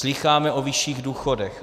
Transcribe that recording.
Slýcháme o vyšších důchodech.